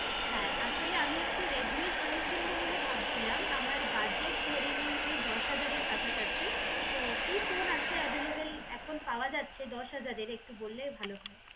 হ্যাঁ, আমি আসলে একটা রেডমি এর ফোন কিনবো বলে ভাবছিলাম আমার বাজেট ধরে নিন ওই দশ হাজারের কাছাকাছি তো কি ফোন আছে এভেইলেবল এখন পাওয়া যাচ্ছে দশ হাজারের একটু বললে ভালো হয়